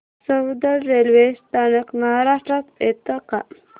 Soundad railway स्थानक महाराष्ट्रात येतं का